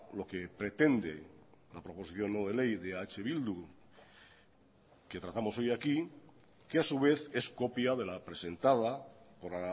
lo que pretende la proposición no de ley de eh bildu que tratamos hoy aquí que a su vez es copia de la presentada por